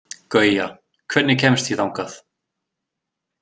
Gauja, hvernig kemst ég þangað?